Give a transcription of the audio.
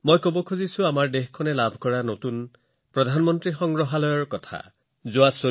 মই দেশখনে লাভ কৰা নতুন প্ৰধানমন্ত্ৰী সংগ্ৰহালয়ৰ বিষয়ে কথা পাতি আছো